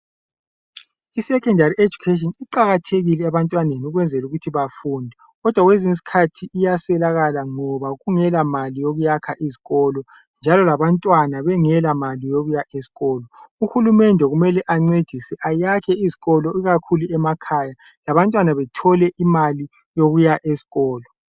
isecondary educatin iqakathekile ebantwaneni ukwenzela ukuba bafunde kodwa kwezinye izikhathi iyaswelakala ngoba kungelamali yokuyakha izikolo njalo labantwana bengela mali yokuya esikolo, uhulumende kumele ancedise ayakhe izikolo ikakhulu emakhaya labantwana bethole imali yokuya eskolo.